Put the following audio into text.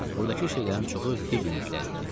Buradakı şeylərin çoxu Fibiniklər idi.